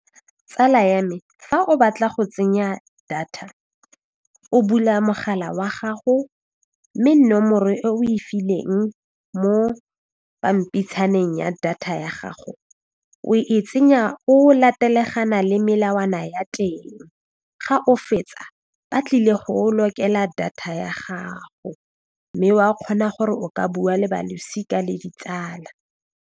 Tsala ya me fa o batla go tsenya data o bula mogala wa gago mme nomoro e o e fileng mo pampitshaneng ya data ya gago o e tsenya o latelegana le melawana ya teng, ga o fetsa ba tlile go o lokela data ya gago mme wa kgona gore o ka bua le balosika le ditsala.